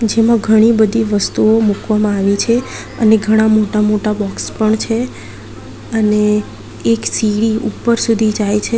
જેમાં ઘણી બધી વસ્તુઓ મૂકવામાં આવી છે અને ઘણા મોટા મોટા બોક્સ પણ છે અને એક સીડી ઉપર સુધી જાય છે.